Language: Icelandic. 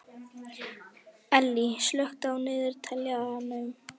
Ellý, slökktu á niðurteljaranum.